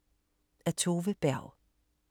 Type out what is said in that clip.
Af Tove Berg